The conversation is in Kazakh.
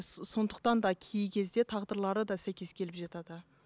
сондықтан да кей кезде тағдырлары да сәйкес келіп жатады